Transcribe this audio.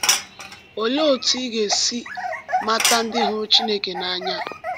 Olee otú ị ga-esi mata ndị hụrụ Chineke n’anya?